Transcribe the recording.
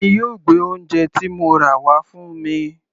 Tani yóò gbé oúnje ti mo rà wá fún mi?